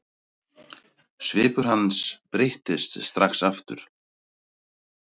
Svipur hans breyttist strax aftur.